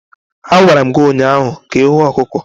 A gwara m gi ụnyahụ ka ihuo ọkụkọ.